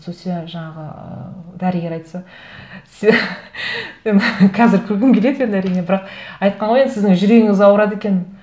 сол себебі жаңағы ы дәрігер айтса мен қазір күлкім келеді енді әрине бірақ айтқан ғой енді сіздің жүрегіңіз ауырады екен